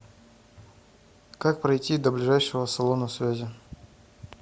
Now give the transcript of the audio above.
как пройти до ближайшего салона связи